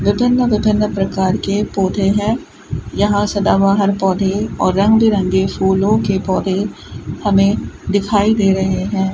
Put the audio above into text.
विभिन्न विभिन्न प्रकार के पौधे है यहां सदाबहार पौधे और रंग बिरंगे फूलों के पौधे हमें दिखाई दे रहे है।